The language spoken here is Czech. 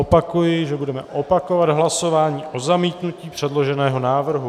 Opakuji, že budeme opakovat hlasování o zamítnutí předloženého návrhu.